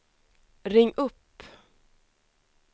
ring upp